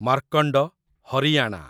Markand, Haryana